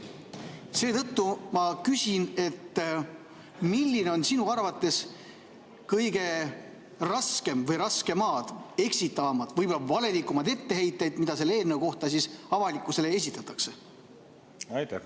Seetõttu ma küsin: millised on sinu arvates kõige raskemad, eksitavamad, võib-olla valelikumad etteheited, mida selle eelnõu kohta siis avalikkusele esitatakse?